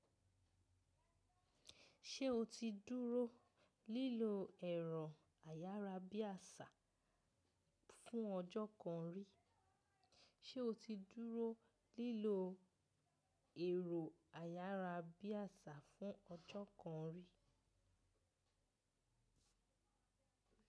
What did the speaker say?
Ṣé o ti dúró lílo ẹ̀rọ ayárabíàṣá fún ọjọ́ kan rí? Èrò ayárabíàṣá fún ọjọ́ kan rí.